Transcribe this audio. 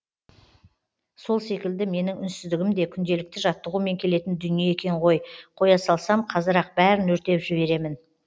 сол секілді менің үнсіздігім де күнделікті жаттығумен келетін дүние екен ғой қоя салсам қазір ақ бәрін өртеп жіберемін